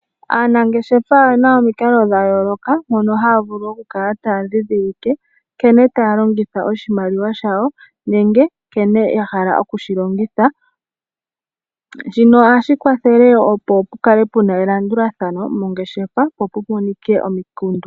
Aanangeshefa oyena omikalo dhayooloka mono haya vulu okukala taya ndhindhilike nkene tayalongitha oshimaliwa shawo nenge nkene yahala okushilongotha. Shino ohashi kwathele opo pukale puna elandulathano mongeshefa po pumonike omikundu.